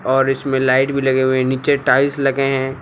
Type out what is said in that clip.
और इसमें लाइट भी लगे हुए हैं नीचे टाइल्स लगे हैं।